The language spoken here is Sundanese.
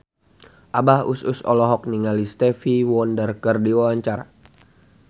Abah Us Us olohok ningali Stevie Wonder keur diwawancara